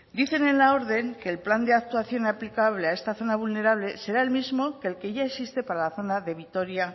dicen en la orden que el plan de actuación aplicable a esta zona vulnerable será el mismo que el que ya existe para la zona de vitoria